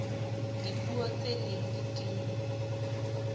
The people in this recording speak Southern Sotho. dipuo tse neng di tinngwe